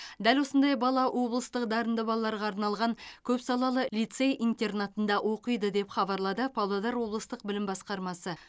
дәл осындай бала облыстық дарынды балаларға арналған көпсалалы лицей интернатында оқиды деп хабарлады павлодар облыстық білім басқармасы